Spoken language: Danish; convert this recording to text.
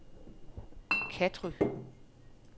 Katry